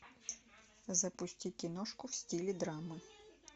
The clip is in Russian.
запусти киношку в стиле драмы